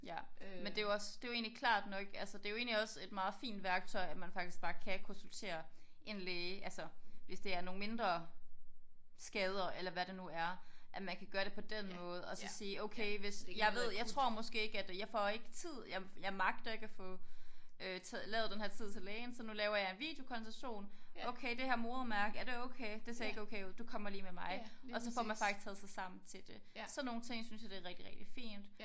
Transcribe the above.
Ja men det jo også det jo egentlig klart nok altså det jo egentlig også et meget fint værktøj at man faktisk bare kan konsultere en læge altså hvis det er nogle mindre skader eller hvad det nu er at man kan gøre det på den måde og så sige okay hvis jeg ved jeg tror måske ikke at jeg får ikke tid jeg jeg magter ikke at få øh lavet denne her tid til lægen så nu laver jeg en videokonsultation okay det her modermærke er det okay det ser ikke okay ud du kommer lige med mig og så får man faktisk taget sig sammen til det sådan nogle ting synes jeg det er rigtig rigtig fint